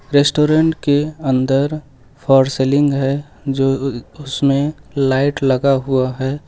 Restaurant के अंदर false ceiling है जो अह उसमें लाइट लगा हुआ है।